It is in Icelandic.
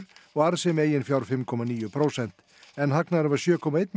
og arðsemi eigin fjár fimm komma níu prósent en hagnaðurinn var sjö komma eitt